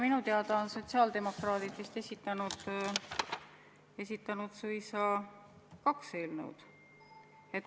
Minu teada on sotsiaaldemokraadid esitanud suisa kaks eelnõu.